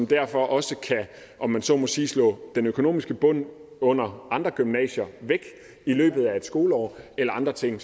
derfor også kan om man så må sige slå den økonomiske bund under andre gymnasier væk i løbet af et skoleår eller andre ting